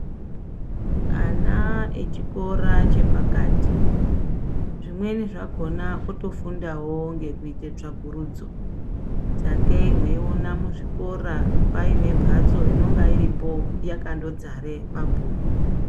Ana echikhora chephakathi zvimweni zvakhona khutofundawo ngekhuite tsvakhurudzo sekhei mweiona muzvikhora paine mphaztso inonga iripho yakhandodzare mabhukhu.